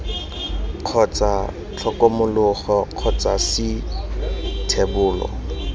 kgotsa tlhokomologo kgotsa c thebolo